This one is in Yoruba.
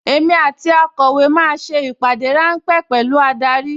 Èmi àti akọ̀wé máa ṣe ìpàdé ráńpẹ́ pẹ̀lú adarí